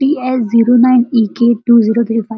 T S zero nine E K two zero three five --